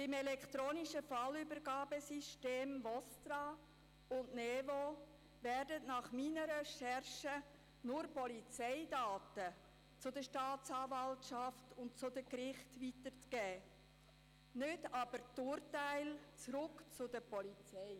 Beim elektronischen Fallübergabesystem VOSTRAund der «Neuen Vorgangsbearbeitung» (NeVo) werden meinen Recherchen zufolge nur Polizeidaten an die Staatsanwaltschaft und die Gerichte weitergegeben, nicht aber die Urteile zurück an die Polizei.